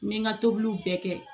N bɛ n ka tobiliw bɛɛ kɛ